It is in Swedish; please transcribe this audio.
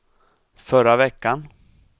förra veckan